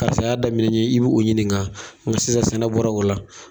Karisa y'a daminɛ I b'o ɲininka bɔ sisan sɛnɛ bɔra o la.